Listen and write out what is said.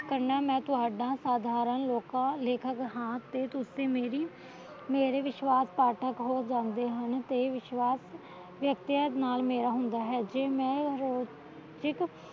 ਕਰਨਾ ਮੈ ਤੁਹਾਡਾ ਸਾਧਾਰਨ ਲੋਕਾਂ ਲੇਖਕ ਹਾਂ ਤੇ ਤੁਸੀ ਮੇਰੀ ਵਿਸ਼ਵਾਸ਼ ਪਾਠਕ ਹੋ ਜਾਂਦੇ ਹਨ ਤੇ ਵਿਸ਼ਵਾਸ਼ ਵਿਅਕਤੀ ਨਾਲ ਮੇਲ ਹੁੰਦਾ ਹੇ ਜੇ ਮੈ